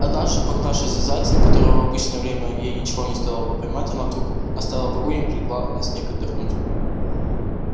однажды погнавшись за зайцем которого в обычное время ей ничего не стоило бы поймать она вдруг оставила погоню и прилегла на снег отдохнуть